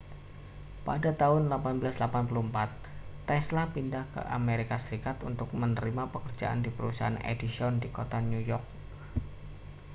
pada tahun 1884 tesla pindah ke amerika serikat untuk menerima pekerjaan di perusahaan edison di kota new york